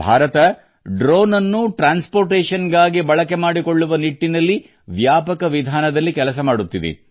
ಭಾರತ ಡ್ರೋನ್ಅನ್ನು ಸಾಗಾಣಿಕೆಗಾಗಿ ಬಳಕೆ ಮಾಡಿಕೊಳ್ಳುವ ನಿಟ್ಟಿನಲ್ಲಿ ವ್ಯಾಪಕ ವಿಧಾನದಲ್ಲಿ ಕೆಲಸ ಮಾಡುತ್ತಿದೆ